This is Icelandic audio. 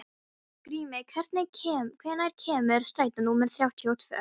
Grímey, hvenær kemur strætó númer þrjátíu og tvö?